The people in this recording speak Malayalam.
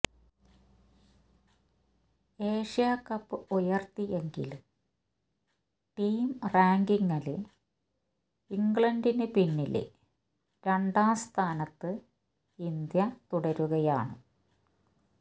ഏഷ്യാകപ്പ് ഉയര്ത്തിയെങ്കിലും ടീം റാങ്കിംഗില് ഇംഗ്ലണ്ടിന് പിന്നില് രണ്ടാം സ്ഥാനത്ത് ഇന്ത്യ തുടരുകയാണ്